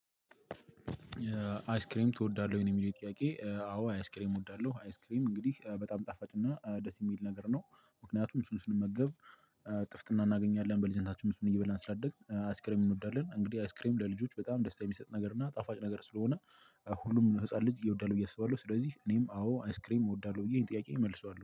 አይስክሬም ትወዳለህ ወይ ነው የሚለው ጥያቄ? አዎ አይስክሬም እወዳለሁ አይስክሬም እንግዲህ በጣም ጣፋጭና ደስ የሚል ነገር ነው። ምክንያቱም ስንመገብ ጥፍጥና እናገኛለን። በልጅነታችን እሱን እየበላን ስላደግን አይስክሬም እንወዳለን። እንግዲህ አስክሬም ለልጆች በጣም ደስታ የሚሰጥ ነገር እና ጣፋጭ ነገር ስለሆነ ሁሉም ህፃን ልጅ ይወዳል ብዬ አስባለሁ። ስለዚህ እኔም አዎ አይስክሬም እወዳለሁ ብዬ ይሄን ጥያቄ እመልሰዋለሁ